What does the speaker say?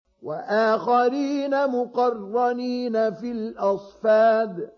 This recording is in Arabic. وَآخَرِينَ مُقَرَّنِينَ فِي الْأَصْفَادِ